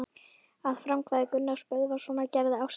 Að frumkvæði Gunnars Böðvarssonar gerði Ásdís